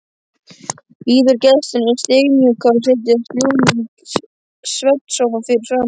Býður gestunum stimamjúkur að setjast í lúinn svefnsófa fyrir framan.